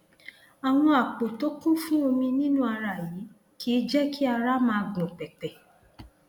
àwọn àpò tó kún fún omi nínú ara yìí kìí jẹ kí ara máa gbọn pẹpẹ